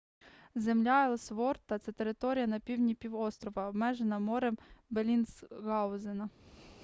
земля елсворта це територія на півдні півострова обмежена морем беллінсгаузена